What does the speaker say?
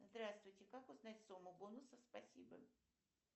здравствуйте как узнать сумму бонусов спасибо